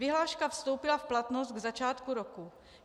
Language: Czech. Vyhláška vstoupila v platnost k začátku roku.